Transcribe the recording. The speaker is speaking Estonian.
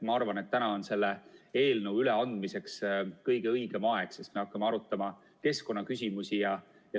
Ma arvan, et täna on selle eelnõu üleandmiseks kõige õigem aeg, sest me hakkame arutama keskkonnaküsimusi.